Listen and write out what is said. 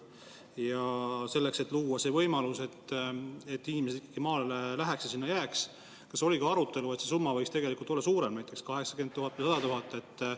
Kas oli ka arutelu selle üle, et kui luua võimalus, et inimesed ikkagi maale läheks ja sinna jääks, siis võiks see summa olla suurem, näiteks 80 000 või 100 000?